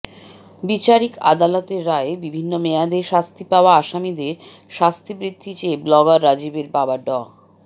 বিচারিক আদালতের রায়ে বিভিন্ন মেয়াদে শাস্তি পাওয়া আসামিদের শাস্তি বৃদ্ধি চেয়ে ব্লগার রাজীবের বাবা ডা